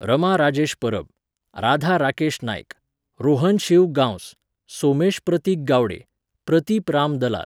Rama Rajesh Parab, Radha Rakesh Naik, Rohan Shiv Gawas, Somesh Prateek Gawade, Prateep Ram Dalal.